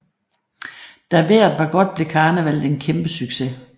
Da vejret var godt blev karnevallet en kæmpe succes